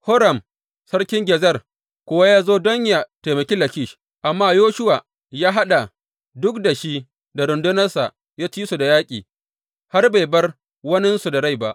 Horam sarkin Gezer kuwa ya zo don yă taimaki Lakish, amma Yoshuwa ya haɗa duk da shi da rundunarsa ya ci su da yaƙi, har bai bar waninsu da rai ba.